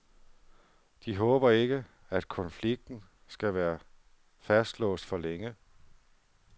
De håber ikke, at konflikten skal være fastlåst for længe.